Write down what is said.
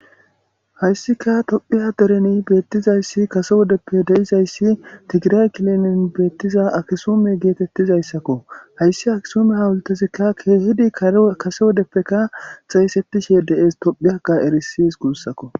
Hayssika tophphiya dereni beettizayssi kase wodeppe deizayssi tigiray kilinin beettiza akisume geetettizayssakko hayssi akisume hawultezikka keehidi kase wodeppeka xeyssetishe de'ees toophphiyakaa erisees guussakko